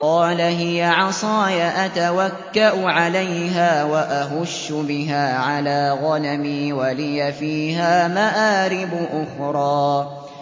قَالَ هِيَ عَصَايَ أَتَوَكَّأُ عَلَيْهَا وَأَهُشُّ بِهَا عَلَىٰ غَنَمِي وَلِيَ فِيهَا مَآرِبُ أُخْرَىٰ